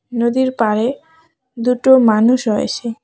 নদীর পাড়ে দুটো মানুষ রয়েছে।